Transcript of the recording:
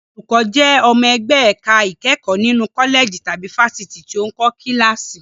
Olùkọ́ jẹ́ ọmọ ẹgbẹ́ ẹ̀ka ìkẹ́kọ̀ọ́ nínú kọ́lẹ̀jì tàbí fáfitì tó ń kọ́ kíláàsì.